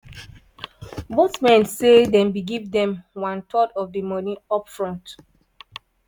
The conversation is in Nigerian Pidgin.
both men say dem bin give dem one third of di money up front.